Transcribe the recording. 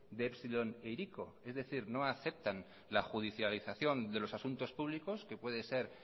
de epsilon e hiriko es decir no aceptan la judicialización de los asuntos públicos que pueden ser